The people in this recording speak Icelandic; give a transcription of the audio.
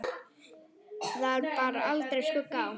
Þar bar aldrei skugga á.